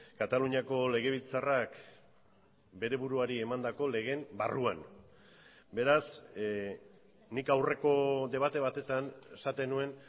kataluniako legebiltzarrak bere buruari emandako legeen barruan beraz nik aurreko debate batetan esaten nuen